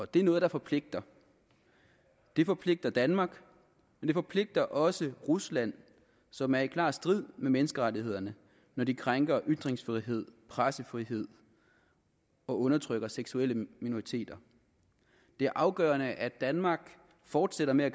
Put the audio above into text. det er noget der forpligter det forpligter danmark og det forpligter også rusland som er i klar strid med menneskerettighederne når de krænker ytringsfrihed pressefrihed og undertrykker seksuelle minoriteter det er afgørende at danmark fortsætter med